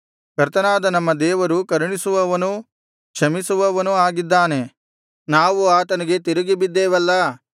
ಕರ್ತನಾದ ನಮ್ಮ ದೇವರು ಕರುಣಿಸುವವನೂ ಕ್ಷಮಿಸುವವನೂ ಆಗಿದ್ದಾನೆ ನಾವು ಆತನಿಗೆ ತಿರುಗಿಬಿದ್ದೆವಲ್ಲಾ